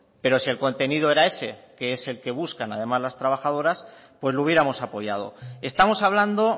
pero sí el contenido era ese que es el que buscan además las trabajadoras pues lo hubiéramos apoyado estamos hablando